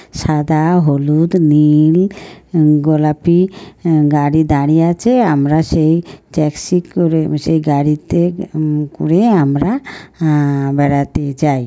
সাদা হলুদ নীল গোলাপি গাড়ি দাঁড়িয়ে আছে আমরা সেই ট্যাক্সি করে সেই গাড়িতে উম করে আমরা আহ বেড়াতে যাই ।